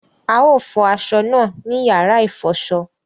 A o fọ aṣọ náà ní yàrá ifọṣọ